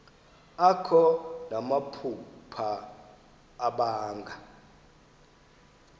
akho namaphupha abanga